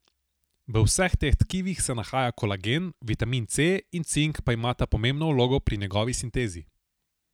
V vseh teh tkivih se nahaja kolagen, vitamin C in cink pa imata pomembno vlogo pri njegovi sintezi.